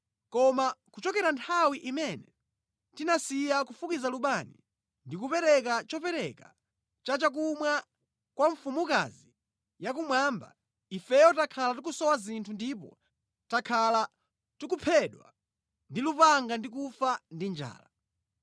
Koma kuchokera nthawi imene tinasiya kufukiza lubani ndi kupereka chopereka cha chakumwa kwa mfumukazi yakumwamba, ifeyo takhala tikusowa zinthu ndipo takhala tikuphedwa ndi lupanga ndi kufa ndi njala.”